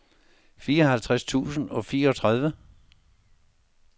fireoghalvtreds tusind og fireogtredive